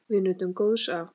Við nutum góðs af.